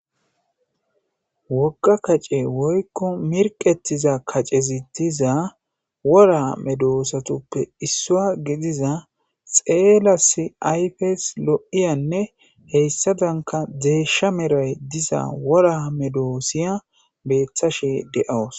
Wogga kace woykko mirqettiza kacezi diza wora medoosatuppe issua gidiza xeela s ayfes lo'iyanne heyssadanka deesha meray diza wora medoosiya beeththashe de'awus.